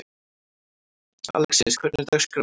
Alexis, hvernig er dagskráin?